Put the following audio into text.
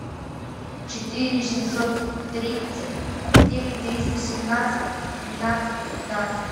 четыре семьсот тридцать девять триста семнадцать тринадцать пятнадцать